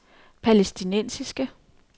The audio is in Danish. palæstinensiske